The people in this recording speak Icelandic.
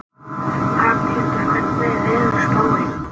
Hrafnhildur, hvernig er veðurspáin?